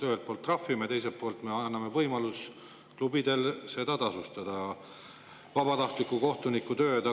Ühelt poolt trahvime, teiselt poolt anname võimaluse klubidel seda vabatahtliku kohtuniku tööd tasustada.